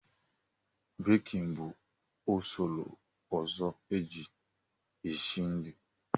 Bekin bụ usoro ọzọ e ji e si nri.